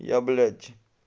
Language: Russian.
я блять